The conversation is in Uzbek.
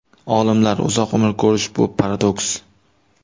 Olimlar: uzoq umr ko‘rish – bu paradoks.